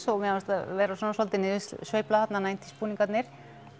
og mér fannst vera svona svolítil niðursveifla þarna níutíu s búningarnir